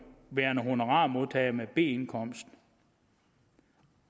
værende honorarmodtager med b indkomst